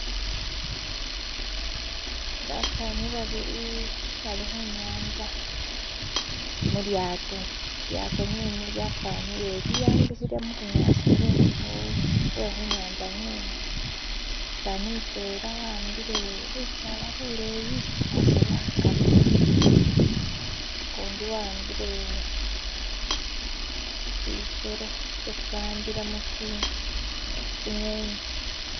<"skip>" basaani babili bali khunyantsa muliato liliato lyene lyafanile liambikhile mubunyasi bwe'khunyantsa nge'ne umusani mutwela waambile lusala luleyi khasobekhaka <"skip>" ukundi waambile sisero sisi baambilamo tsing'eni